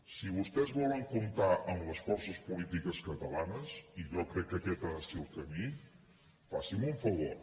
si vostès volen comptar amb les forces polítiques catalanes i jo crec que aquest ha de ser el camí faci’m un favor